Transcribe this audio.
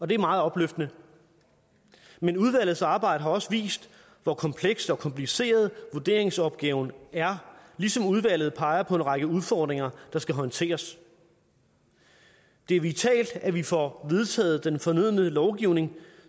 det er meget opløftende men udvalgets arbejde har også vist hvor komplekst og kompliceret vurderingsopgaven er ligesom udvalget peger på en række udfordringer der skal håndteres det er vitalt at vi får vedtaget den fornødne lovgivning